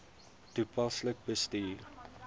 toepaslik bestuur